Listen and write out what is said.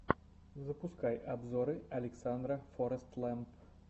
запускай обзоры александра форэстлэмп